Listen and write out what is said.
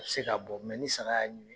Me se ka bɔ mɛ ni saga y'a ɲimi